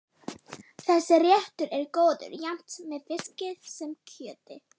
Þessi réttur er góður jafnt með fiski sem kjöti.